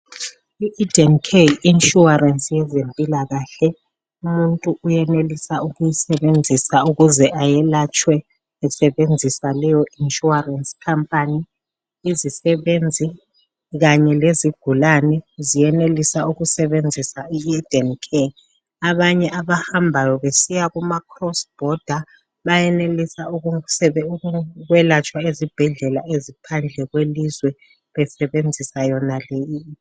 I Eden care Yi insurance yezempilakahle umuntu uyenelisa ukuyisebenzisa ukuze elayetshwe esebenzisa leyo insurance khampani imisebenzi Kanye lezigulane ziyenelisa ujwelatshwa zisebenzisa I Eden care, abanye abahambayo besiya Kuma cross border bayenelisa ukwelatshwa besebenzisa yona.